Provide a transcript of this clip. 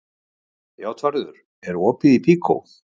Játvarður, er opið í Byko?